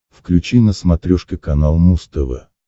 включи на смотрешке канал муз тв